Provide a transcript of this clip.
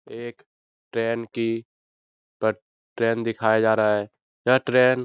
एक ट्रेन की पट ट्रेन दिखाया जा रहा है यह ट्रेन --